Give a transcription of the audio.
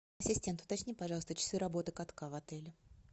ассистент уточни пожалуйста часы работы катка в отеле